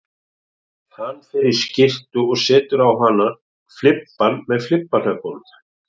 Hann fer í skyrtu og setur á hana flibba með flibbahnöppum